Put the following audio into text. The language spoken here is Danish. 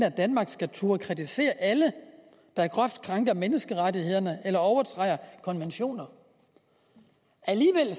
at danmark skal turde kritisere alle der groft krænker menneskerettighederne eller overtræder konventioner alligevel